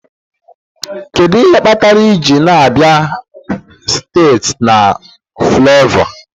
Kedu ihe kpatara iji na-abịa site na Fulaiova?